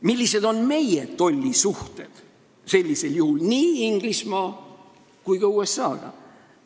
Millised on meie tollisuhted sellisel juhul nii Inglismaa kui ka USA-ga?